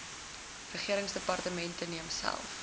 regeringsdepartemente neem self